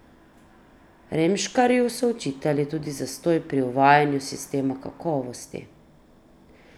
Remškarju so očitali tudi zastoj pri uvajanju sistema kakovosti.